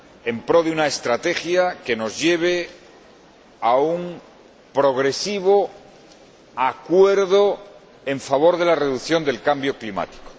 en pro de una estrategia que nos lleve a un progresivo acuerdo en favor de la reducción del cambio climático.